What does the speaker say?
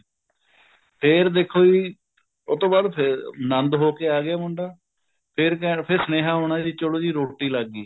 ਫ਼ੇਰ ਦੇਖੋ ਜੀ ਉਹ ਤੋਂ ਬਾਅਦ ਫ਼ੇਰ ਆਨੰਦ ਹੋ ਕੇ ਆ ਗਿਆ ਮੁੰਡਾ ਫ਼ੇਰ ਕਹਿ ਫ਼ੇਰ ਸੁਨੇਹਾ ਆਉਣਾ ਵੀ ਚਲੋ ਜੀ ਰੋਟੀ ਲੱਗ ਗਈ